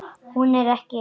Hún er ekki ein.